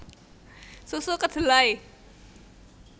Susu Kedelai